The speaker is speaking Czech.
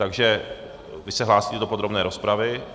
Takže - vy se hlásíte do podrobné rozpravy?